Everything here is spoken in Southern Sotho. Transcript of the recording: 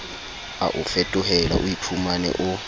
a o fetohela oiphumane o